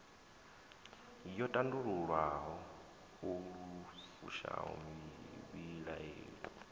yo tandululwa lu fushaho muvhilaeli